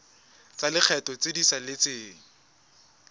tsa lekgetho tse di saletseng